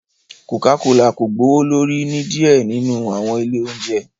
Coca Cola ko gbowolori ni diẹ ninu awọn ile ounjẹ